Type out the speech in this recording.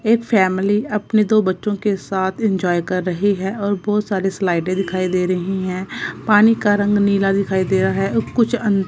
ये फैमिली अपने दो बच्चों के साथ इंजॉय कर रही है और बहुत सारे स्लाइडें दिखाई दे रही हैं पानी का रंग नीला दिखाई दे रहा है कुछ अं--